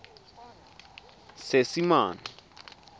seesimane